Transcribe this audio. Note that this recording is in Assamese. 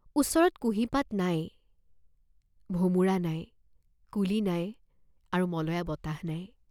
ওচৰত কুঁহি পাত নাই, ভোমোৰা নাই, কুলি নাই আৰু মলয়া বতাহ নাই।